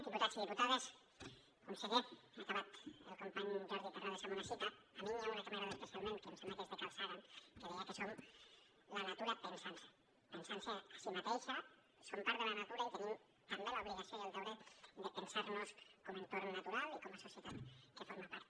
diputats i diputades conseller ha acabat el company jordi terrades amb una cita a mi n’hi ha una que m’agrada especialment que em sembla que és de carl sagan que deia que som la natura pensant se pensant se a si mateixa som part de la natura i tenim també l’obligació i el deure de pensar nos com a entorn natural i com a societat que en forma part